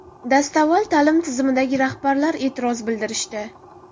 Dastavval, ta’lim tizimidagi rahbarlar e’tiroz bildirishdi.